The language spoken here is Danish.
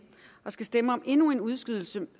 og skal stemme om endnu en udskydelse